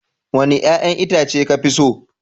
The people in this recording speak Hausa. Wanni yayan Itace ka fi so?